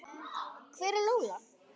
Hver er Lola?